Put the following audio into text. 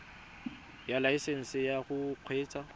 ya laesesnse ya go kgweetsa